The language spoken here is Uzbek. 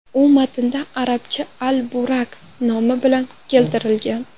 U matnda arabcha al-Burak nomi bilan keltirilgan.